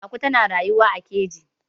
aku tana ruyuwa a keji